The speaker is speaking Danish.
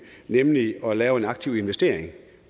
nemlig at lave en aktiv investering